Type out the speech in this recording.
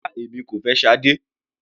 Rárá, èmi kò fẹ́ Sade.